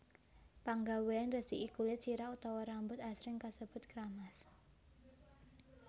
Panggawéan ngresiki kulit sirah utawa rambut asring kasebut kramas